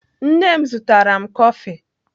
Nne m zụtara m kọfị.